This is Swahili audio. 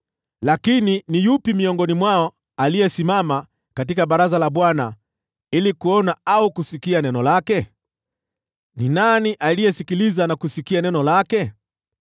Lakini ni yupi miongoni mwao aliyesimama katika baraza la Bwana ili kuona au kusikia neno lake? Ni nani aliyesikiliza na kusikia neno lake?